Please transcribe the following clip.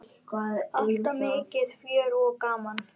Alltaf mikið fjör og gaman.